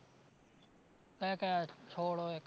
ક્યાં ક્યાં છોડ હોય